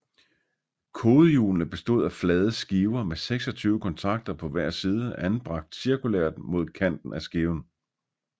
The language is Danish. Kodehjulene bestod af flade skiver med 26 kontakter på hver side anbragt cirkulært mod kanten af skiven